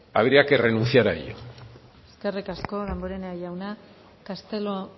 habría que renunciar a ello eskerrik asko damborenea jauna castelo